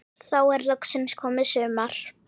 Þá er loksins komið sumar.